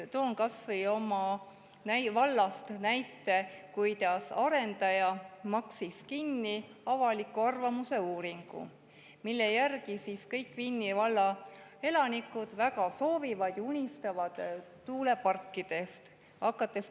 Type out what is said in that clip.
Toon näite oma vallast, kus arendaja maksis kinni avaliku arvamuse uuringu, mille järgi kõik Vinni valla elanikud väga soovivad tuuleparke ja unistavad nendest.